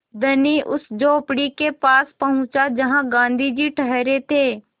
धनी उस झोंपड़ी के पास पहुँचा जहाँ गाँधी जी ठहरे थे